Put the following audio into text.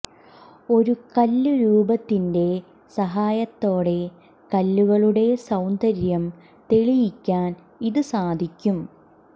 ഒരു കല്ല് രൂപത്തിന്റെ സഹായത്തോടെ കല്ലുകളുടെ സൌന്ദര്യം തെളിയിക്കാൻ ഇത് സാധിക്കും